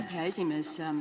Aitäh, hea esimees!